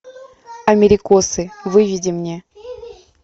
америкосы выведи мне